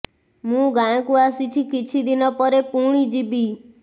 ମୁଁ ଗାଁକୁ ଆସିଛି କିଛ ଦିନ ପରେ ପୁଣି ଯିବି